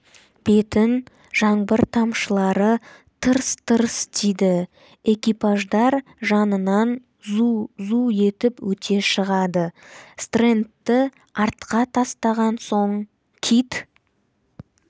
бетін жаңбыр тамшылары тырс-тырс тиді экипаждар жанынан зу-зу етіп өте шығады стрэндті артқа тастаған соң кит